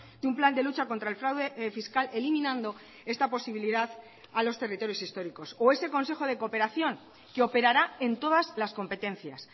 de un plan de lucha contra el fraude fiscal eliminando esta posibilidad a los territorios históricos o ese consejo de cooperación que operará en todas las competencias